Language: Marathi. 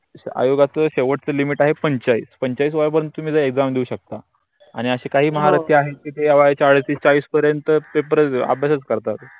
आयोगाच्या शेवटच्या लिमिट आहे पन्च्चालीस पन्चालीस वया परेनत तुम्ही जर exam देऊ शकता. आणि असे काही म्हारत्य आहे ते वयाच्या अडोतीस चाळीस परेनत ते अभ्यास करतात.